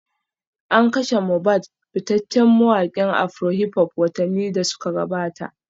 An kashe Mobad fitaccen mawakin afrohiphop watanni da suka gabata